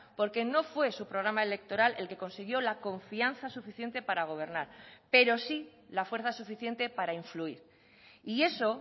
porque no fue su programa electoral el que consiguió la confianza suficiente para gobernar pero sí la fuerza suficiente para influir y eso